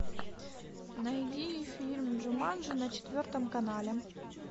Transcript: найди фильм джуманджи на четвертом канале